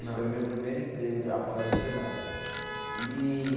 Foi o meu primeiro emprego de, após o Senai. E